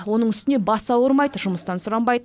оның үстіне басы ауырмайды жұмыстан сұранбайды